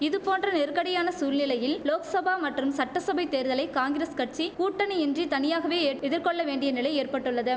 இதுபோன்ற நெருக்கடியான சூழ்நிலையில் லோக்சபா மற்றும் சட்டசபை தேர்தலை காங்கிரஸ் கட்சி கூட்டணி இன்றி தனியாகவே ஏட் எதிர்கொள்ள வேண்டிய நிலை ஏற்பட்டுள்ளது